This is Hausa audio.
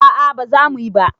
A'a baza muyi ba